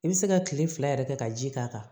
I bɛ se ka kile fila yɛrɛ kɛ ka ji k'a kan